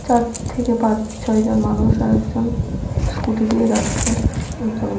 চার থেকে পাঁচ ছয়জন মানুষ আর একজন স্কুটি দিয়ে যাচ্ছে একজন লোক।